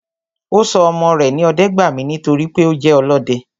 Ọ́ sọ ọmọ re ní Ọdẹ́gbàmí nítorí pé o je olọdẹ